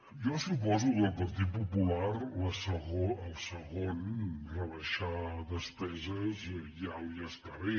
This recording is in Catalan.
jo suposo que al partit popular el segon rebaixar despeses ja li està bé